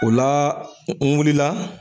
O la n wulila